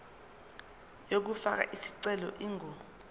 yokufaka isicelo ingu